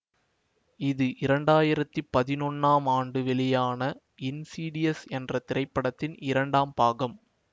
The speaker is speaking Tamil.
இது இரண்டு ஆயிரத்தி பதினொன்னாம் ஆண்டு வெளியான இன்சீடியஸ் என்ற திரைப்படத்தின் இரண்டாம் பாகம்